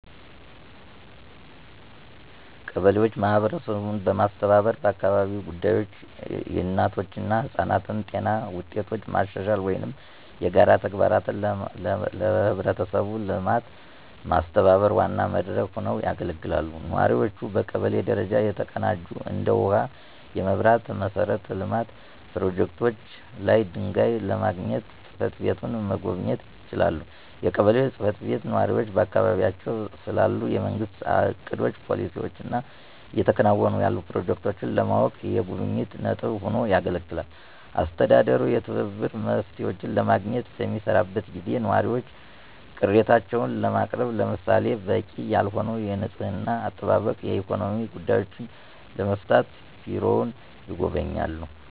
ቀበሌዎች ማህበረሰቡን በማስተባበር በአካባቢያዊ ጉዳዮች፣ የእናቶች እና ህጻናት ጤና ውጤቶች ማሻሻል ወይም የጋራ ተግባራትን ለህብረተሰቡ ልማት ማስተባበር ዋና መድረክ ሆነው ያገለግላሉ። ነዋሪዎቹ በቀበሌ ደረጃ የተቀናጁ እንደ ውሃ፣ የመብራት መሠረተ ልማት ፕሮጀክቶች ላይ ድጋፍ ለማግኘት ጽ/ቤቱን መጎብኘት ይችላሉ። የቀበሌው ጽ/ቤት ነዋሪዎች በአካባቢያቸው ስላሉ የመንግስት እቅዶች፣ ፖሊሲዎች እና እየተከናወኑ ያሉ ፕሮጀክቶችን ለማወቅ የጉብኝት ነጥብ ሆኖ ያገለግላል። አስተዳደሩ የትብብር መፍትሄዎችን ለማግኘት በሚሰራበት ጊዜ ነዋሪዎች ቅሬታዎችን ለማቅረብ ለምሳሌ - በቂ ያልሆነ የንፅህና አጠባበቅ፣ ኢኮኖሚያዊ ጉዳዮችን ለመፍታት ቢሮውን ይጎበኛሉ።